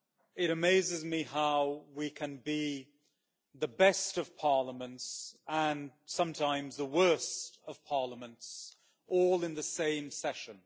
It amazes me how we can be the best of parliaments and sometimes the worst of parliaments all in the same session.